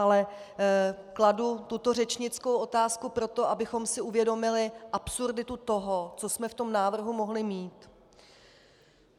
Ale kladu tuto řečnickou otázku proto, abychom si uvědomili absurditu toho, co jsme v tom návrhu mohli mít.